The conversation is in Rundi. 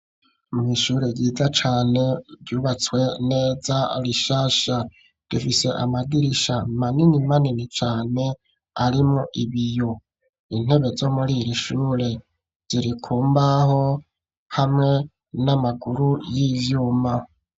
Mw'ishure ryiza cane ryubatswe neza, rishasha. Rifise amadirisha manini manini cane, arimwo ibiyo. Intebe zo muri iri shure ziri ku mbaho, hamwe n'amaguru y'ivyuma.